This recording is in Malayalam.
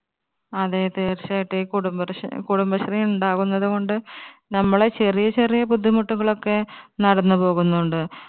അതെ തീർച്ചയായിട്ടും ഈ കുടുംബരഷ് കുടുംബശ്രീ ഉണ്ടാവുന്നത് കൊണ്ട് നമ്മളെ ചെറിയ ചെറിയ ബുദ്ധിമുട്ടുകൾ ഒക്കെ നടന്നുപോകുന്നുണ്ട്.